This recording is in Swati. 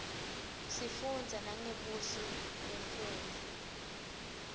sifunza nangebuhle bemnfundzo